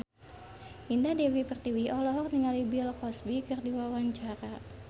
Indah Dewi Pertiwi olohok ningali Bill Cosby keur diwawancara